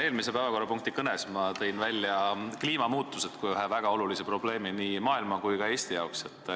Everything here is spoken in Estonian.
Eelmises päevakorrapunktis peetud kõnes tõin ma välja kliimamuutused kui ühe väga olulise probleemi nii maailma kui ka Eesti jaoks.